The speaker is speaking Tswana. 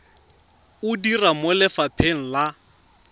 o dira mo lefapheng la